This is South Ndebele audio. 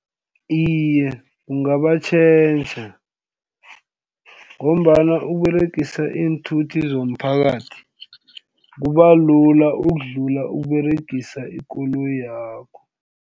Iye, kungabatjhentjha ngombana ukUberegisa iinthuthi zomphakathi kuba lula ukudlula ukUberegisa ikoloyakho.